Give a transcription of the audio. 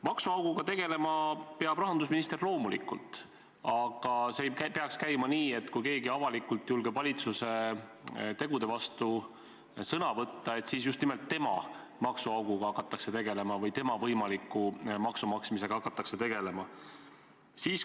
Maksuauguga tegelema peab rahandusminister loomulikult, aga see ei peaks käima nii, et kui keegi avalikult julgeb valitsuse tegude vastu sõna võtta, siis just nimelt tema maksude maksmisega hakatakse eriti tegelema.